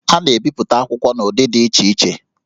A na-ebipụta akwụkwọ n'ụdị dị iche iche